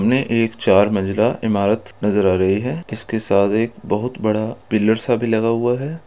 --मे एक चार मंजिला इमारत नजर आ रही है इसके साथ एक बहुत बड़ा पिलर सा भी लगा हुआ है।